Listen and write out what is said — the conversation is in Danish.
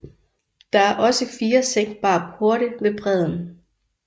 Der er også fire sænkbare porte ved bredden